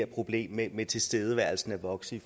problem med tilstedeværelsen af voksne